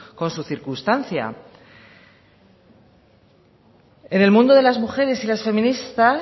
con su circunstancia en el mundo de las mujeres y las feministas